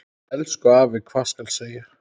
Elsku afi, hvað skal segja.